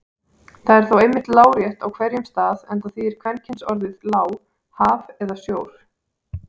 Það er þó einmitt lárétt á hverjum stað enda þýðir kvenkynsorðið lá haf eða sjór.